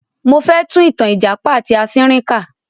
Mo fẹ tún ìtàn ìjàpá ati asínrín kà.